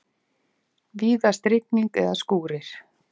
Víðast rigning eða skúrir